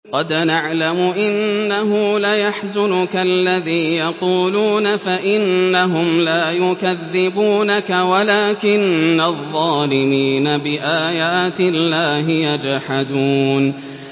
قَدْ نَعْلَمُ إِنَّهُ لَيَحْزُنُكَ الَّذِي يَقُولُونَ ۖ فَإِنَّهُمْ لَا يُكَذِّبُونَكَ وَلَٰكِنَّ الظَّالِمِينَ بِآيَاتِ اللَّهِ يَجْحَدُونَ